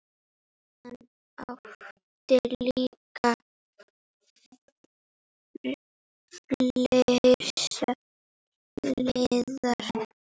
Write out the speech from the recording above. Hann átti líka fleiri hliðar.